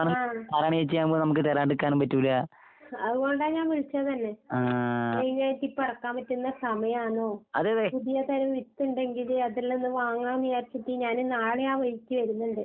ആഹ്. അതുകൊണ്ടാ ഞാൻ വിളിച്ചത് തന്നെ മെയിനായിട്ടിപ്പെറക്കാൻ പറ്റുന്ന സമയാണോ? പുതിയ തരം വിത്ത്ണ്ടെങ്കില് അതെല്ലാം ഒന്ന് വാങ്ങാന്ന് വിചാരിച്ചിട്ട് ഞാന് നാളെയാ വഴിക്ക് വര്ന്ന്ണ്ട്.